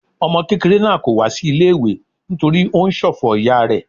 Ọmọ kékeré náà kò wá sí ilé-ìwé nítorí ó ń ṣòfò ìyá rẹ.